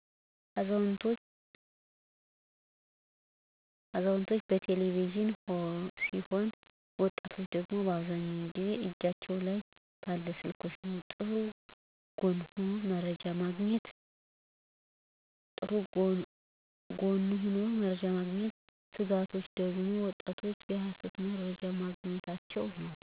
አዛውንቶች በቴለቪዥን ሲሆን ወጣቶች ደግሞ አብዛኛው ጊዜ እጃቸው ላይ ባለ ስልክ ነው። ጥሩ ጎኑ ሁሉም መረጃ ማግኝታቸ ነው። ስጋቶች ደግሞ ወጣቶች የሀሰት መርጃ ማግኝታቸው ነው።